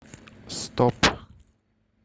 стоп